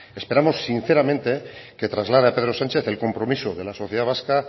esperamos sinceramente que traslade a pedro sánchez el compromiso de la sociedad vasca